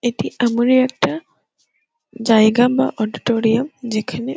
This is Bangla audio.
এটি এমনি একটা জায়গা বা অডিটোরিয়াম যেখানে --